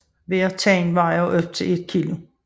Hver tand vejer op til 1 kg